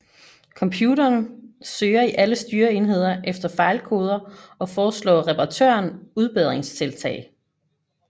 Computerne søger i alle styreenheder efter fejlkoder og foreslår reparatøren udbedringstiltag